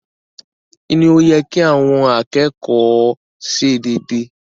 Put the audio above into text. Kí ni ó yẹ kí àwọn akẹ́kọ̀ọ́ ṣe dédé?